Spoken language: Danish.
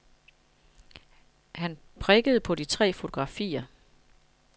Han prikkede på de tre fotografier.